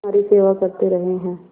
तुम्हारी सेवा करते रहे हैं